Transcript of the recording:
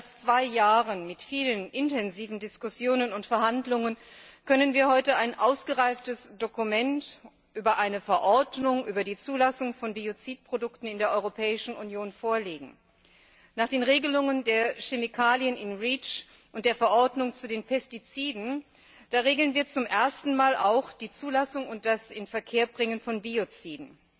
Nach mehr als zwei Jahren mit vielen intensiven Diskussionen und Verhandlungen können wir heute ein ausgereiftes Dokument über eine Verordnung über die Zulassung von Biozidprodukten in der Europäischen Union vorlegen. Nach den Regelungen für Chemikalien in der REACH Verordnung und der Verordnung zu den Pestiziden regeln wir zum ersten Mal auch die Zulassung und das Inverkehrbringen von Bioziden.